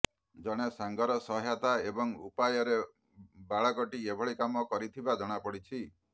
ଜଣେ ସାଙ୍ଗର ସହାୟତା ଏବଂ ଉପାୟରେ ବାଳକଟି ଏଭଳି କାମ କରିଥିବା ଜଣାପଡିଛି